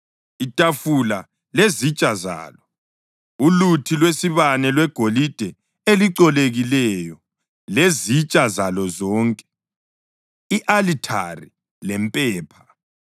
itafula lezitsha zalo, uluthi lwesibane lwegolide elicolekileyo lezitsha zalo zonke, i-alithari lempepha,